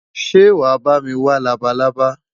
Ṣé wàá bá mi wá labalábá?